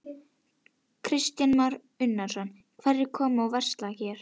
Kristján Már Unnarsson: Hverjir koma og versla hér?